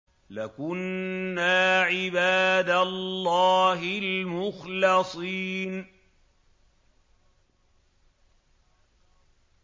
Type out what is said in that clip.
لَكُنَّا عِبَادَ اللَّهِ الْمُخْلَصِينَ